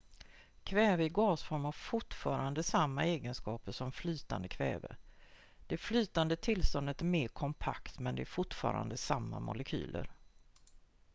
kväve i gasform har fortfarande samma egenskaper som flytande kväve det flytande tillståndet är mer kompakt men det är fortfarande samma molekyler